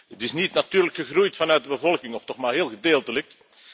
Het is niet natuurlijk gegroeid vanuit de bevolking of toch maar heel gedeeltelijk.